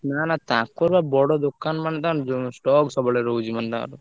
ନା ନା ତାଙ୍କ ର ବା ବଡ ଦୋକାନ ମାନେ ତାଙ୍କ ~ଜ stock ସବୁବେଳେ ରହୁଛି ମାନେ ତାଙ୍କର।